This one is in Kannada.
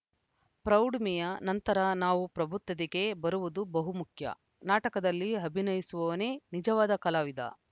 ಪ್ರೌಢಿಮೆಯ ನಂತರ ನಾವು ಪ್ರಬುದ್ಧತೆಗೆ ಬರುವುದು ಬಹುಮುಖ್ಯ ನಾಟಕದಲ್ಲಿ ಅಭಿನಯಿಸುವವನೇ ನಿಜವಾದ ಕಲಾವಿದ